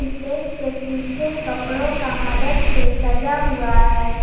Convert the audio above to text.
Stage के पीछे कपड़ों का मदद से सजा हुआ है।